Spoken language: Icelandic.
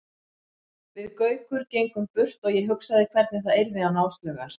Við Gaukur gengum burt og ég hugsaði hvernig það yrði án Áslaugar.